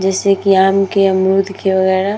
जैसे कि आम के अमरुद के वगेरा।